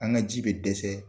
An ka ji bɛ dɛsɛ